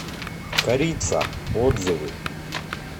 корица отзывы